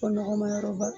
Fɔ nɔgɔmayɔrɔ ba